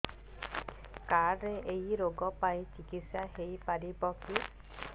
card ରେ ଏଇ ରୋଗ ପାଇଁ ଚିକିତ୍ସା ହେଇପାରିବ କି